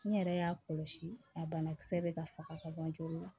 N yɛrɛ y'a kɔlɔsi a banakisɛ bɛ ka faga ka bɔ joli la